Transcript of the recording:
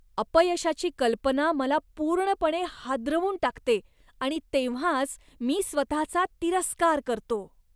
अपयशाची कल्पना मला पूर्णपणे हादरवून टाकते आणि तेव्हाच मी स्वतःचा तिरस्कार करतो.